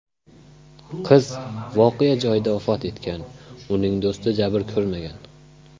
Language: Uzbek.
Qiz voqea joyida vafot etgan, uning do‘sti jabr ko‘rmagan.